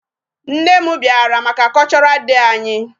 Nne m bịara maka cultural day anyị.